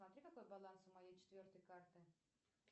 посмотри какой баланс у моей четвертой карты